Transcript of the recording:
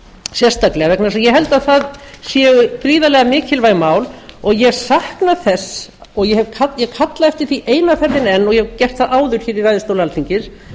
sérstaklega vegna þess að ég held að það séu gríðarlega mikilvæg mál og ég sakna þess og ég kalla eftir því eina ferðina enn og ég hef gert það áður hér í ræðustól alþingis